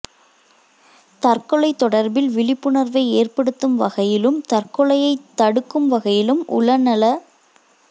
தற்கொலை தொடர்பில் விழிப்புணர்வை ஏற்படுத்தும் வகையிலும் தற்கொலையைத் தடுக்கும் வகையிலும் உளநல